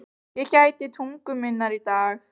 Ég gæti tungu minnar í dag.